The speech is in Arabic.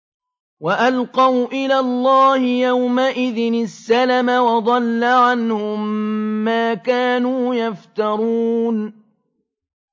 وَأَلْقَوْا إِلَى اللَّهِ يَوْمَئِذٍ السَّلَمَ ۖ وَضَلَّ عَنْهُم مَّا كَانُوا يَفْتَرُونَ